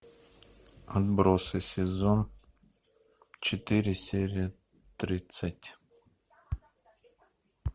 отбросы сезон четыре серия тридцать